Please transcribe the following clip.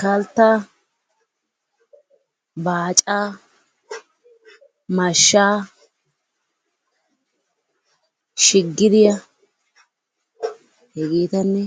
Kalttaa, baacca, mashshaa, shigiriya hegeetanne